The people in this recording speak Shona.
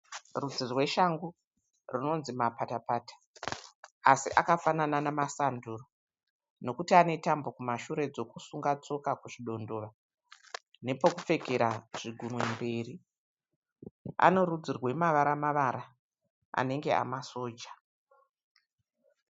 Rudzi rweshangu runonzi mapatapata asi akafanana nemasanduro nekuti anetambo kumashure dzekusunga shoka kuzvidondora nepekupfekera zvigunwe mberi. Anorudzi rwemavara-mavara anenge emasoja.